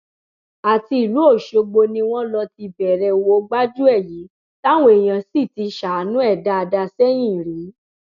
àti ìlú ọṣọgbó ni wọn lọ ti bẹrẹ owó gbájúẹ yìí táwọn èèyàn sì ti ṣàánú ẹ dáadáa sẹyìn rí